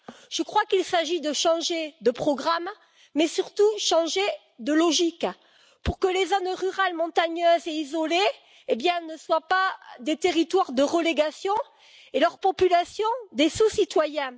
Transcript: Selon moi, il s'agit maintenant de changer de programme, mais surtout de changer de logique pour que les zones rurales montagneuses et isolées ne soient pas des territoires de relégation et leurs populations, des sous citoyens.